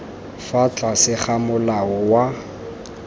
fa tlase ga molao wa